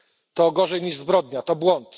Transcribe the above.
To gorzej niż zbrodnia to błąd.